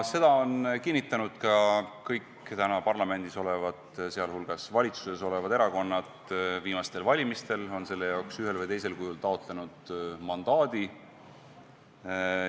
Seda on kinnitanud ka kõik täna parlamendis olevad, sh valitsuses olevad erakonnad, viimastel valimistel on nad selle jaoks ühel või teisel kujul taotlenud mandaadi.